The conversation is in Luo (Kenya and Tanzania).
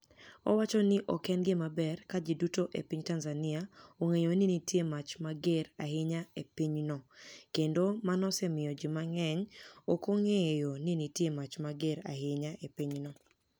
Owacho nii ok eni gima ber ka ji duto e piniy Tanizaniia onig'eyo nii niitie mach mager ahiniya e piny no, kenido mano osemiyo ji manig'eniy ok onig'eyo nii niitie mach mager ahiniya e piny no.